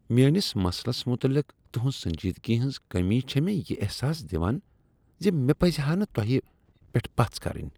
میٲنس مسلس متعلق تہنٛز سنجیدگی ہنٛز کٔمی چھ مےٚ یہ احساس دوان ز مےٚ پز ہا نہٕ تۄہہ پؠٹھ پژھ کرٕنۍ۔